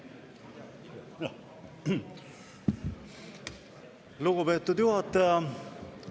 Lugupeetud juhataja!